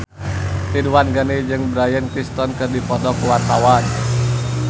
Ridwan Ghani jeung Bryan Cranston keur dipoto ku wartawan